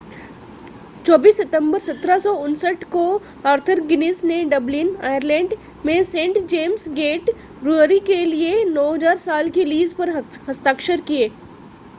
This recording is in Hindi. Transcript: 24 सितंबर 1759 को आर्थर गिनीज़ ने डबलिन आयरलैंड में सेंट जेम्स गेट ब्रूअरी के लिए 9,000 साल की लीज़ पर हस्ताक्षर किए